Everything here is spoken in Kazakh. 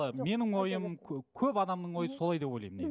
ы менің ойым көп адамның ойы солай деп ойлаймын негізі